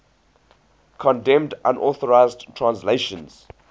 condemned unauthorized translations